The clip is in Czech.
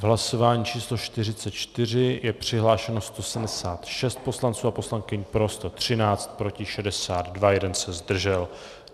V hlasování číslo 44 bylo přihlášeno 176 poslanců a poslankyň, pro 113, proti 62, jeden se zdržel.